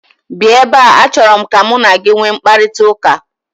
Bịa ebe a, achọrọ m ka mụ na gị nwee mkparịtaụka!!